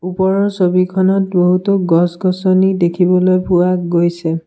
ওপৰৰ ছবিখনত বহুতো গছ-গছনি দেখিবলৈ পোৱা গৈছে।